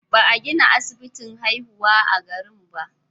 Ba a gina asibitin haihuwa a garin ba.